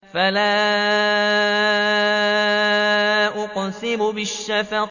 فَلَا أُقْسِمُ بِالشَّفَقِ